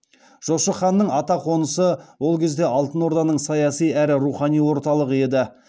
жошы ханның атақонысы ол кезде алтын орданың саяси әрі рухани орталығы еді